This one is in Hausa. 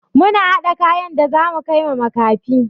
Muna haɗa kayan da zamu kaiwa makafi.